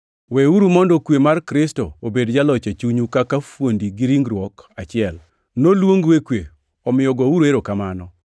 Weuru mondo kwe mar Kristo obed jaloch e chunyu kaka fuondi ringruok achiel, noluongu e kwe, omiyo gouru erokamano.